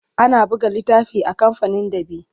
Ana buga littafi a kamfanin ɗab'i.